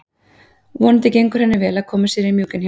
Vonandi gengur henni vel að koma sér í mjúkinn hjá honum.